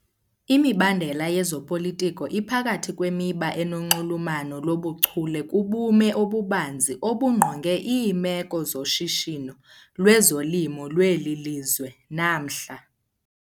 Imibandela yezopolitiko iphakathi kwemiba enonxulumano lobuchule kubume obubanzi obungqonge iimeko zoshishino lwezolimo lweli lizwe namhla.